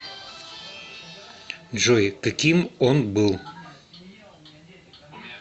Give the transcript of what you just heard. джой каким он был